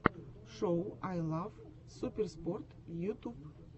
шоу ай лав суперспорт ютуб